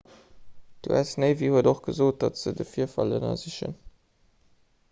d'us navy huet och gesot datt se de virfall ënnersichen